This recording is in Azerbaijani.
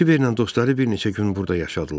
Kiber və dostları bir neçə gün burda yaşadılar.